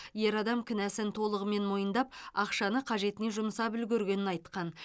ер адам кінәсін толығымен мойындап ақшаны қажетіне жұмсап үлгергенін айтқан